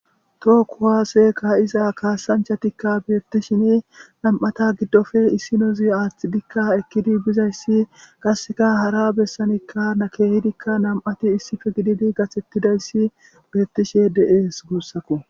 Tookkuwaaseka iza kaasanchatikka beettishin nam7ata giddofe issinozi aaththidikka ekkidi bizayssi qasseka hara bessanikka na keehidikka nam7ati issife gididi gathettidayssi beettishe de7ees guussako.